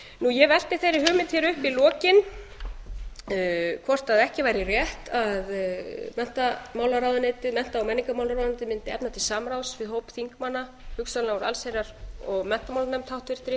ég velti þeirri hugmynd upp hér í lokin hvort ekki væri rétt að menntamálaráðuneytið mennta og menningarmálaráðuneytið mundi efna til samráðs við hóp þingmanna hugsanlega úr allsherjar og menntamálanefnd háttvirtur